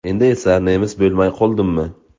Endi esa nemis bo‘lmay qoldimmi?